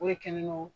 O de kɛlen no